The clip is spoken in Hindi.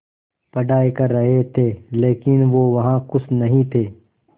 पढ़ाई कर रहे थे लेकिन वो वहां ख़ुश नहीं थे